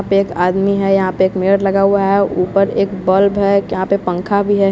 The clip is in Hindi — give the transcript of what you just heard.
पे एक आदमी है यहाँ पे एक मेड लगा हुआ है ऊपर एक बल्ब है कयाँ पे पंखा भी है।